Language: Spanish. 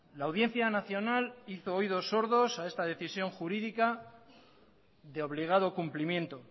la audiencia nacional hizo oídos sordos a esta decisión jurídica de obligado cumplimiento